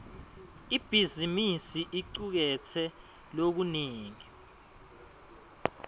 ibhizimisi icuketse lokunengi